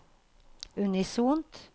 unisont